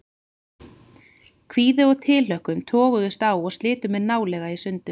Kvíði og tilhlökkun toguðust á og slitu mig nálega í sundur.